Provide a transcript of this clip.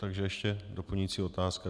Takže ještě doplňující otázka.